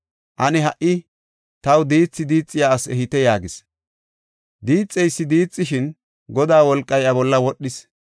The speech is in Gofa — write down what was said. Ane ha77i taw diithi diixiya asi ehite” yaagis. Diixeysi diixishin, Godaa wolqay iya bolla wodhis.